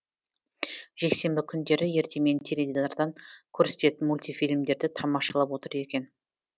жексенбі күндері ертемен теледидардан көрсететін мультифильмдерді тамашалап отыр екен